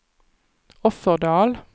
Offerdal